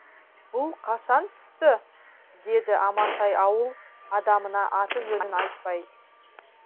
бұл қала қашан түсті деді амантай ауыл адамына аты жөнін айтпай